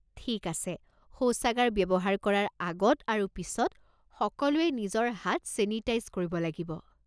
ঠিক আছে! শৌচাগাৰ ব্যৱহাৰ কৰাৰ আগত আৰু পিছত, সকলোৱে নিজৰ হাত ছেনিটাইজ কৰিব লাগিব।